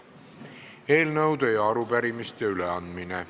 Eelnõude ja arupärimiste üleandmine.